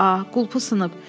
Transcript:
A, qulpu sınıb.